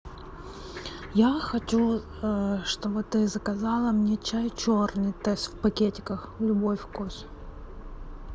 я хочу чтобы ты заказала мне чай черный тесс в пакетиках любой вкус